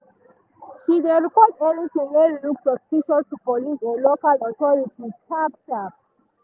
she dey report anything wey look suspicious to police or local authority sharp-sharp.